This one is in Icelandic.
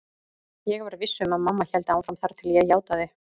Ég var viss um að mamma héldi áfram þar til ég játaði.